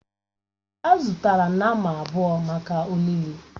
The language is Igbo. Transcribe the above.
Èè, a zụtara nnama abụọ maka olili.